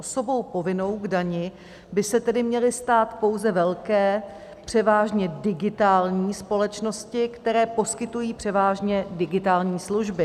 Osobou povinnou k dani by se tedy měly stát pouze velké převážně digitální společnosti, které poskytují převážně digitální služby.